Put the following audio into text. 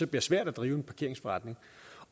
bliver svært at drive en parkeringsforretning